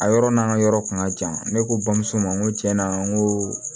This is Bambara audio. A yɔrɔ n'an ka yɔrɔ kun ka jan ne ko bamuso ma n ko tiɲɛna n ko